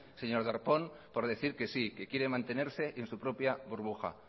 señor darpón por decir que sí que quiere mantenerse en su propia burbuja